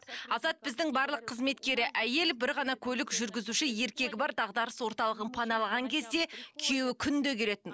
азат біздің барлық қызметкері әйел бір ғана көлік жүргізуші еркегі бар дағдарыс орталығын паналаған кезде күйеуі күнде келетін